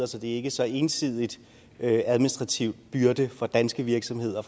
så det er ikke så ensidigt administrativt en byrde for danske virksomheder